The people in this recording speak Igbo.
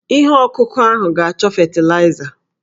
Ihe ọkụkụ ahụ ga-achọ fetịlaịza.